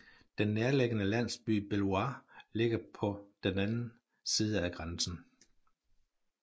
Den nærliggende landsby Belvoir ligger på den anden side af grænsen